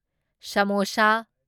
samosa